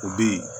O bi